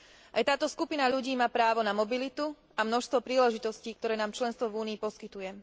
Aj táto skupina ľudí má právo na mobilitu a množstvo príležitostí, ktoré nám členstvo v Únii poskytuje.